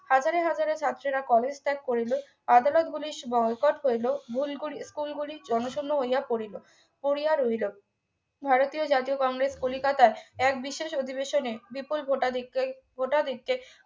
হাজারে হাজারে ছাত্রীরা কলেজ ত্যাগ করিল আদালতগুলির বয়কট করিল ভুলকরি school গুলি জনশূণ্য হইয়া পড়িল পড়িয়া রহিল ভারতীয় জাতীয় কংগ্রেস কলিকাতায় এক বিশেষ অধিবেশনে বিপুল ভোটাধিকরের ভোটাধিক্ষ্যের